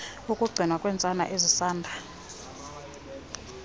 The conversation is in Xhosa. kukugcinwa kweentsana ezisanda